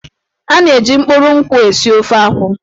A na-eji mkpụrụ nkwụ esi ofe akwụ.